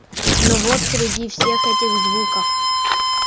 но вот среди всех этих звуков